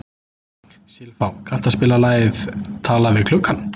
Silfá, kanntu að spila lagið „Talað við gluggann“?